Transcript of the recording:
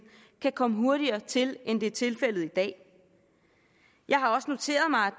kan komme hurtigere til end det er tilfældet i dag jeg har også noteret mig